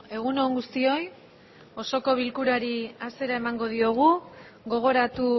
egun on guztioi osoko bilkurari hasiera emango diogu gogoratu